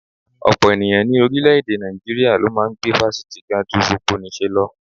Ọ̀pọ̀ ènìyàn ní orílẹ̀-èdè Nàìjíríà ló máa ń gbé fásitì ga ju gbogbonìṣe lọ